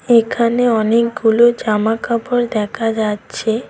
এখানে অনেকগুলো জামাকাপড় দেখা যাচ্ছে।